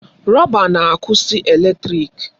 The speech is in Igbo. Rọba na-akwụsị eletrịk.